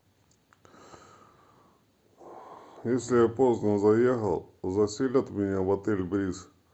если я поздно заехал заселят меня в отель бриз